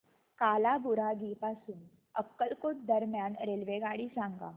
कालाबुरागी पासून अक्कलकोट दरम्यान रेल्वेगाडी सांगा